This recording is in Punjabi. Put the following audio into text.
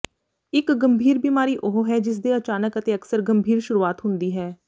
ਇੱਕ ਗੰਭੀਰ ਬਿਮਾਰੀ ਉਹ ਹੈ ਜਿਸਦੇ ਅਚਾਨਕ ਅਤੇ ਅਕਸਰ ਗੰਭੀਰ ਸ਼ੁਰੂਆਤ ਹੁੰਦੀ ਹੈ